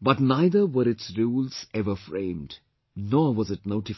but neither were its rules ever framed, nor was it notified